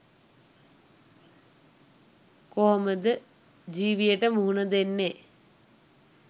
කොහොමද ජීවියට මුහුණ දෙන්නේ